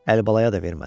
Əlibalaya da vermədi.